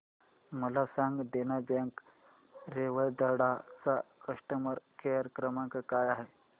मला सांगा देना बँक रेवदंडा चा कस्टमर केअर क्रमांक काय आहे